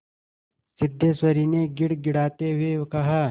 सिद्धेश्वरी ने गिड़गिड़ाते हुए कहा